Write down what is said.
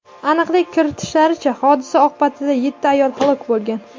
Aniqlik kiritishlaricha, hodisa oqibatida yetti ayol halok bo‘lgan.